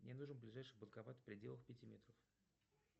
мне нужен ближайший банкомат в пределах пяти метров